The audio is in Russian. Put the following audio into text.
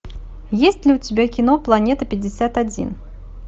есть ли у тебя кино планета пятьдесят один